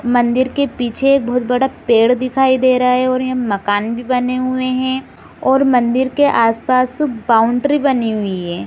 मंदिर के पीछे एक बहुत बड़ा पेड़ दिखाई दे रहे है और यहाँ मकान भी बने हुए है और मंदिर के आसपास बॉउन्ड्री बनी हुई है।